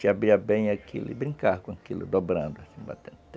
Te abria bem aquilo e brincava com aquilo, dobrando, assim, batendo.